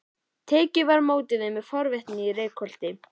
Tekið var á móti þeim með forvitni í Reykholti.